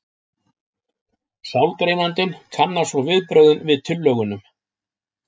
Sálgreinandinn kannar svo viðbrögðin við tillögunum.